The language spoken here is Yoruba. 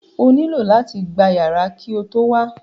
O nílò láti gba yàrá ki o tó wá